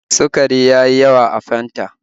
Sukari ya yi yawa a Fanta